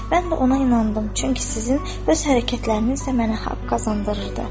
Mən də ona inandım, çünki sizin öz hərəkətləriniz də mənə haqq qazandırırdı.